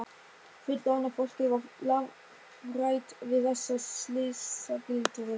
Fullorðna fólkið var lafhrætt við þessa slysagildru.